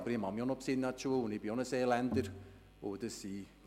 Aber ich bin auch ein Seeländer und mag mich auch noch an die Schule erinnern.